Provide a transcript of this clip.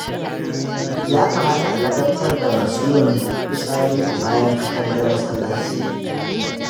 Ya kamata a ladabtar da masu yin fitsari a bayan katangar masallaci